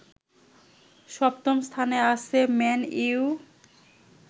সপ্তম স্থানে আছে ম্যান ইউ